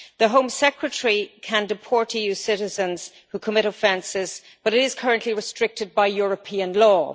The Home Secretary can deport EU citizens who commit offences but this is currently restricted by European law.